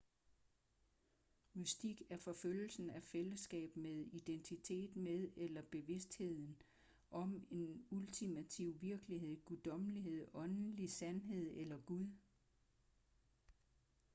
mystik er forfølgelsen af fællesskab med identitet med eller bevidsthed om en ultimativ virkelighed guddommelighed åndelig sandhed eller gud